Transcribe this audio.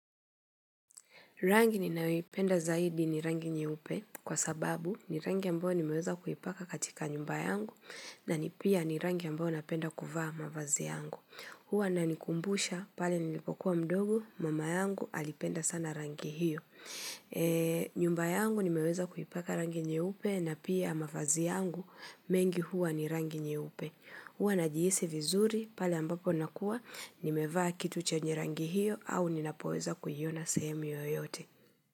Rangi ninayoipenda zaidi ni rangi nyeupe kwa sababu ni rangi ambayo nimeweza kuipaka katika nyumba yangu na ni pia ni rangi ambayo napenda kuvaa mavazi yangu. Huwa inanikumbusha, pale nilipokuwa mdogo, mama yangu alipenda sana rangi hiyo. Nyumba yangu nimeweza kuipaka rangi nyeupe na pia mavazi yangu mengi huwa ni rangi nyeupe. Huwa najihisi vizuri pale ambapo nakuwa, nimevaa kitu chanye rangi hiyo au ninapoeza kuiona sehemu yoyote.